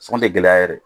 Sɔn tɛ gɛlɛya yɛrɛ ye